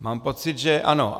Mám pocit, že ano.